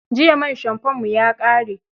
Jiya man shamfonmu ya ƙare.